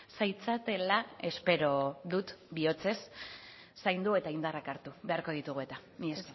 zaitzatela espero dut bihotzez zaindu eta indarrak hartu beharko ditugu eta mila